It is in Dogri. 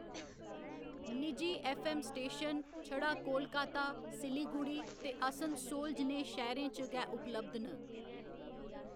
निजी ऐफ्फ. ऐम्म. स्टेशन छड़ा कोलकाता, सिलीगुड़ी ते आसनसोल जनेह शैह्‌‌‌रें च गै उपलब्ध न।